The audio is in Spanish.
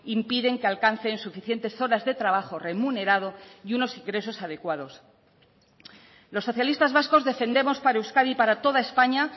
impiden que alcancen suficientes horas de trabajo remunerado y unos ingresos adecuados los socialistas vascos defendemos para euskadi y para toda españa